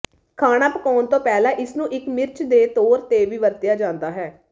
ਖਾਣਾ ਪਕਾਉਣ ਤੋਂ ਪਹਿਲਾਂ ਇਸਨੂੰ ਇੱਕ ਮਿਰਚ ਦੇ ਤੌਰ ਤੇ ਵੀ ਵਰਤਿਆ ਜਾਂਦਾ ਹੈ